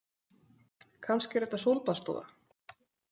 Kannski er þetta sólbaðsstofa